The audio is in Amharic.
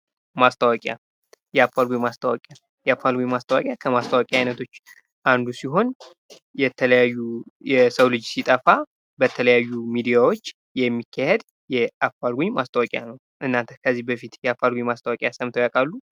ማስታወቂያ የአፋልጉኝ ማስታወቂያ ከማስታወቂያ አንዱ ሲሆን የተለያዩ የሰው ልጅ ሲጠፋ በተለያዩ ሚዲያዎች የሚካሄድ አፋልጉኝ ማስታወቂያ ነው። እናንተ ከዚህ በፊት የአፋልጉኝ ማስታወቂያ ሰምተው ያውቃሉ?